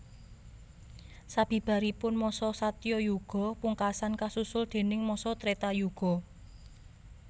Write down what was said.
Sabibaripun masa Satyayuga pungkasan kasusul déning masa Tretayuga